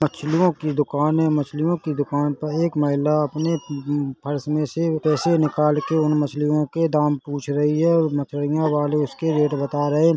मछलियों की दुकान है मछलियों की दुकान पे एक महिला अपने प-पर्स में से पैसे निकाल के उन मछलियों के दाम पूछ रही है और मछिलया वाले उसके रेट बता रहे है।